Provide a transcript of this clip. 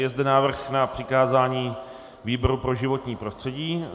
Je zde návrh na přikázání výboru pro životní prostředí.